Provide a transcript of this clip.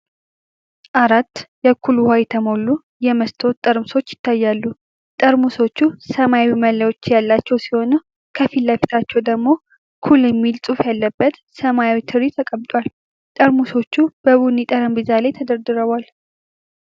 አራት የ"ኩል" ውሃ የተሞሉ የመስታወት ጠርሙሶች ይታያሉ። ጠርሙሶቹ ሰማያዊ መለያዎች ያሏቸው ሲሆን፤ ከፊት ለፊታቸው ደግሞ "ኩል" የሚል ጽሑፍ ያለበት ሰማያዊ ትሪ ተቀምጧል። ጠርሙሶቹ በቡኒ ጠረጴዛ ላይ ተደርድረዋል።